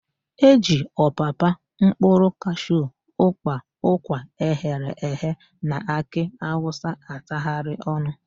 E ji ọpapa, mkpụrụ kashu, ụ́kpà, ụkwa eghere eghe na akị awụsa atagharị ọnụ.